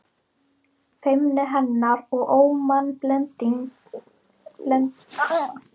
Feimni hennar og ómannblendni höfðu löngum amað mér.